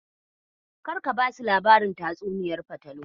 Karka basu labarin tatsuniyar fatalwar.